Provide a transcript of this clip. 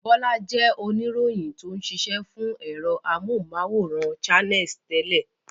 Bọ́lá jẹ́ oníròyìn tó ń ṣiṣẹ́ fún ẹ̀rọ amóhùmáwòhán Channels tẹ́lẹ̀.